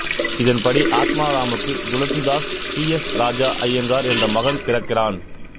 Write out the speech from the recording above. இதன்படி ஆத்மாராமுக்கு Tulsidas P S Raja Iyengar என்ற மகன் பிறக்கிறான்